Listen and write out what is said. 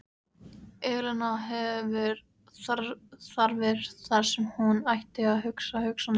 Elena hefur þarfir þar sem hún ætti að hafa hugsanir.